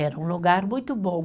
Era um lugar muito bom.